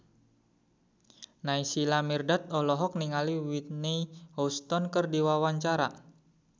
Naysila Mirdad olohok ningali Whitney Houston keur diwawancara